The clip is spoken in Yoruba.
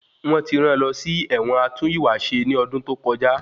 Wọ́n ti rán lọ sí ẹ̀wọ̀n atún ìwà ṣe ní ọdún tó kọjá.